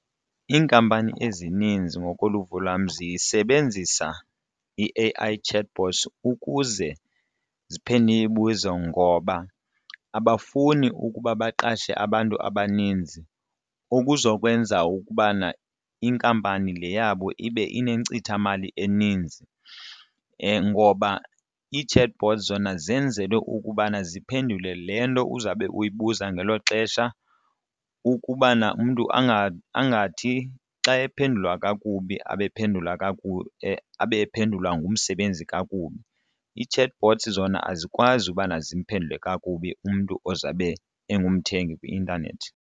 Iinkampani ezininzi ngokoluvo lwam zisebenzise i-A_I chatbots ukuze ziphendule imibuzo ngoba abafuni ukuba baqashe abantu abaninzi ukuzokwenza ukubana inkampani le yabo ibe inenkcithamali eninzi ngoba ii-chatbot zona zenzelwe ukubana ziphendule le nto uzawube uyibuza ngelo xesha ukubana umntu angathi angathi ephendula kakubi abe ephendula abe ephendulwa ngumsebenzi kakubi. Ii-chatbots zona azikwazi ubana zimphendule kakubi umntu ozawube ungumthengi kwi-intanethi.